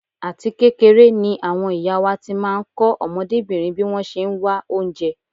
Àti kékeré ni àwọn ìyá wá ti máa ń kọ́ ọmọdébìnrin bí wọ́n ṣe ń wá oúnjẹ.